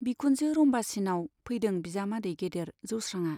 बिखुनजो रम्बासीनाव फैदों बिजामादै गेदेर जौस्रांआ।